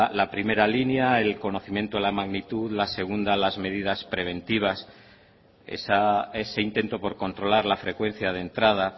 la primera línea el conocimiento la magnitud la segunda las medidas preventivas ese intento por controlar la frecuencia de entrada